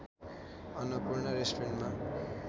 अन्‍नपूर्णा रेस्टुरेन्टमा